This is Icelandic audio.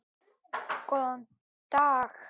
Góðan dag!